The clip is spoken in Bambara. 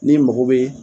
N'i mago bɛ